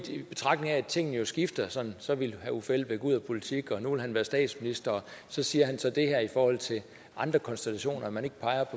betragtning af at tingene skifter så så ville herre uffe elbæk ud af politik og nu vil han være statsminister og så siger han så det her i forhold til andre konstellationer at man